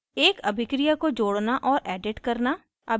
एक अभिक्रिया को जोड़ना और edit करना